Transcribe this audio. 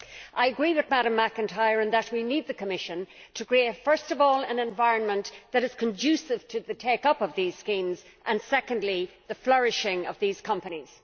I agree with Ms McIntyre in that we need the Commission to create, first of all, an environment that is conducive to the take up of these schemes, and secondly, the flourishing of these companies.